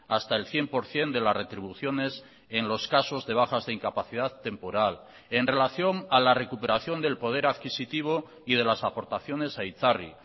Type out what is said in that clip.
hasta el cien por ciento de las retribuciones en los casos de bajas de incapacidad temporal en relación a la recuperación del poder adquisitivo y de las aportaciones a itzarri